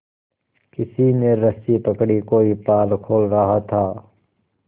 किसी ने रस्सी पकड़ी कोई पाल खोल रहा था